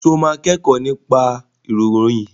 Ṣé o máa kẹ́kọ̀ọ́ nípa ìkọ̀ròyìn?